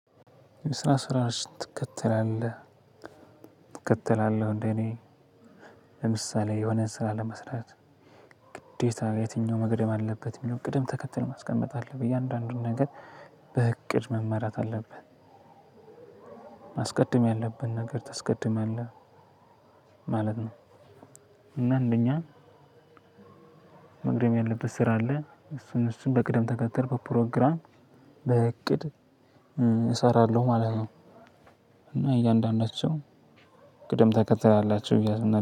ስራ ስራሽ ትከተላለህ ትከተላለህ እንደኔ ለምሳሌ የሆነ ስራ ለመስራት ግዴታ የትኛው መገደም አለበት የሚለውን ቅደም ተከተል ማስቀመጥ አለብኝ እያንዳንዱን ነገር በእቅድ መመራት አለብህ። ማስቀድም ያለብን ነገር ታስቀድማለል ማለት ነው። እና እንደኛ መቅደም ያለበት ስራ አለ እሱን እሱን በቅደም ተከተል በፕሮግራም በእቅድ እሰራለሁ ማለት ነው። እና እያንዳንዳቸው ቅደም ተከተል አላቸው እያሱ